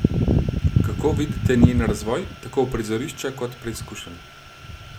Kako vidite njen razvoj, tako prizorišča kot preizkušenj?